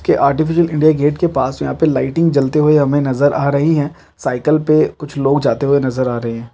के artificial India Gate के पास यहाँ पे लाइटिंग जलती हुवे हमें नज़र आ रही है साइकिल पे कुछ लोग जाते हुए नज़र आ रहे हैं।